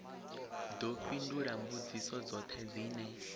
ḓo fhindula mbudziso dzoṱhe dzine